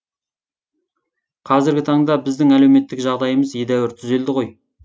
қазіргі таңда біздің әлеуметтік жағдайымыз едәуір түзелді ғой